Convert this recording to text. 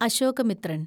Ashokamitran